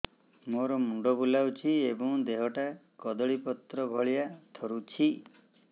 ମୋର ମୁଣ୍ଡ ବୁଲାଉଛି ଏବଂ ଦେହଟା କଦଳୀପତ୍ର ଭଳିଆ ଥରୁଛି